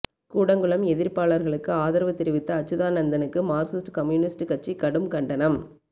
கூடங்குளம் எதிர்ப்பாளர்களுக்கு ஆதரவு தெரிவித்த அச்சுதானந்தனுக்கு மார்க்சிஸ்ட் கம்யூனிஸ்டு கட்சி கடும் கண்டனம்